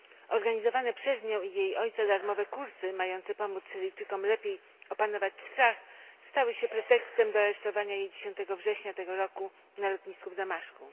Organizowane przez nią i jej ojca darmowe kursy, mające pomóc Syryjczykom lepiej opanować strach, stały się pretekstem do aresztowania jej 10 września tego roku na lotnisku w Damaszku.